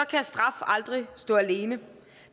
kan straf aldrig stå alene